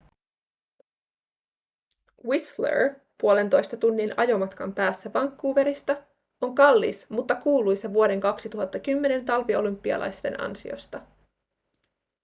whistler puolentoista tunnin ajomatkan päässä vancouverista on kallis mutta kuuluisa vuoden 2010 talviolympialaisten ansiosta